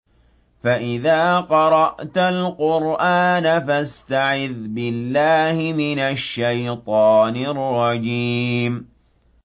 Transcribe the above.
فَإِذَا قَرَأْتَ الْقُرْآنَ فَاسْتَعِذْ بِاللَّهِ مِنَ الشَّيْطَانِ الرَّجِيمِ